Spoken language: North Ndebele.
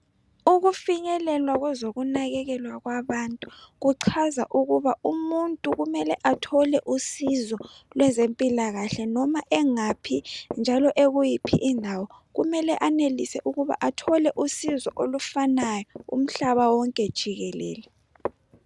Ukufinyelelwa kwezokunakakelwa kwabantu, kucaza ukuthi umuntu kumele athole usizo lwezemphilakahle noma engaphi njalo ekuyiphi indawo, kumele anelise ukuba athole usizo olufanayo umhlaba wonke jikelele.